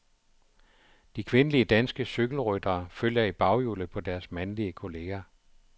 De kvindelige danske cykelryttere følger i baghjulet på deres mandlige kolleger.